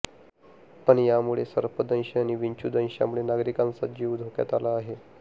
पण यामुळे सर्पदंश आणि विंचूदंशामुळे नागरिकांचा जीव धोक्यात आला आहे